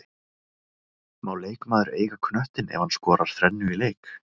Má leikmaður eiga knöttinn ef hann skorar þrennu í leik?